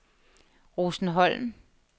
Rosenholm